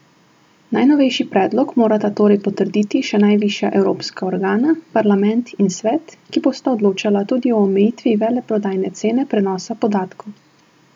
Najnovejši predlog morata torej potrditi še najvišja evropska organa, parlament in svet, ki bosta odločala tudi o omejitvi veleprodajne cene prenosa podatkov.